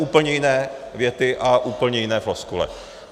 Úplně jiné věty a úplně jiné floskule.